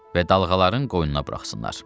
Və dalğaların qoynuna buraxsınlar.